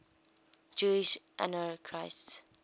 jewish anarchists